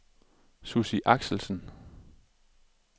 Sussi Axelsen